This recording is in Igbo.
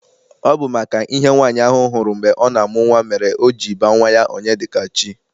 Ọ bụ maka ihe nwaanyị ahụ hụrụ mgbe ọ na-amụ nwa mere o ji baa nwa ya Onyedikachi.